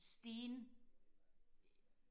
sten